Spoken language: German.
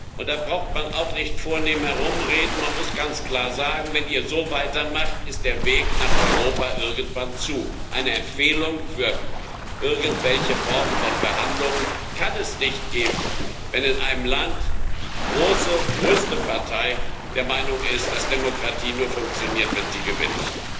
Und da braucht man auch nicht vornehm herumzureden man muss ganz klar sagen Wenn ihr so weitermacht, ist der Weg nach Europa irgendwann zu. Eine Empfehlung für irgendwelche Formen von Verhandlungen kann es nicht geben, wenn in einem Land die größte Partei der Meinung ist, dass Demokratie nur funktioniert, wenn sie gewinnt.